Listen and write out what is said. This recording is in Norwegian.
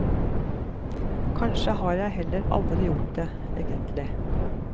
Kanskje har jeg heller aldri gjort det, egentlig.